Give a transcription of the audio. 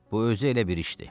Bu özü elə bir işdir.